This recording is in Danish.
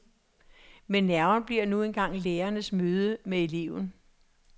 Men nerven bliver nu engang lærerens møde med eleven.